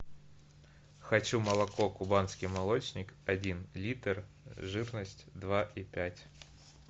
хочу молоко кубанский молочник один литр жирность два и пять